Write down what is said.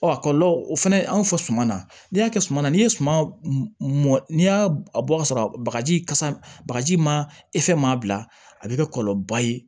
Ɔ a kɔlɔlɔ o fana anw fɔ suman na ni y'a kɛ suma na n'i ye suman mɔn n'i y'a bɔ ka sɔrɔ bagaji kasa bagaji ma maa bila a bɛ kɛ kɔlɔlɔba ye